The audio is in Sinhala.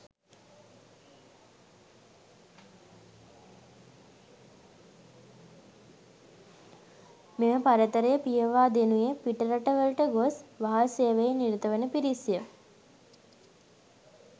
මෙම පරතරය පියවා දෙනුයේ පිටරටවලට ගොස් වහල් සේවයේ නිරත වන පිරිස්ය.